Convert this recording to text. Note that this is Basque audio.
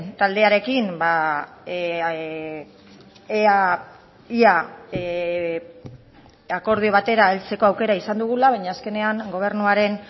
taldearekin ea ia akordio batera heltzeko aukera izan dugula baina azkenean gobernuaren